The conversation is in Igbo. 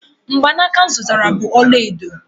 mgbanaka m zụtara bụ ọla edo